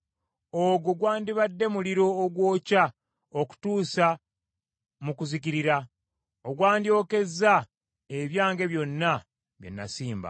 Ogwo gwandibadde muliro ogwokya okutuusa mu kuzikirira, ogwandyokezza ebyange byonna bye nasimba.”